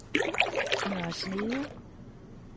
Nørre Snede